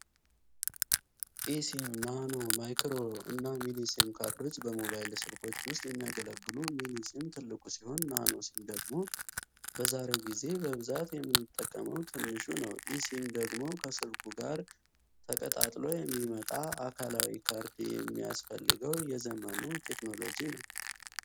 ኢ.ሲም፣ ናኖ፣ ማይክሮ እና ሚኒ ሲም ካርዶች በሞባይል ስልኮች ውስጥ የሚያገለግሉ፣ ሚኒ ሲም ትልቁ ሲሆን፣ ናኖ ሲም ደግሞ በዛሬው ጊዜ በብዛት የምንጠቀመው ትንሹ ነው። ኢ.ሲም ደግሞ ከስልኩ ጋር ተቀጣጥሎ የሚመጣ፣ አካላዊ ካርድ የማያስፈልገው የዘመኑ ቴክኖሎጂ ነው።